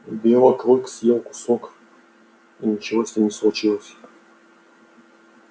белый клык съел кусок и ничего с ним не случилось